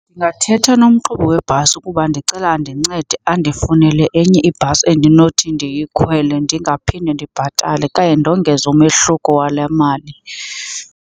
Ndingathetha nomqhubi webhasi ukuba ndicela andincede andifunele enye ibhasi endinothi ndiyikhwele ndingaphinde ndibhatale okanye ndongeze umehluko wale mali.